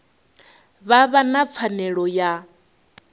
vha vha na pfanelo ya